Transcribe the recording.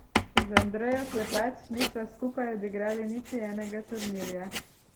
Z Andrejo Klepač nisva skupaj odigrali niti enega turnirja.